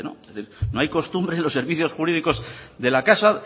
es decir no hay costumbre en los servicios jurídicos de la casa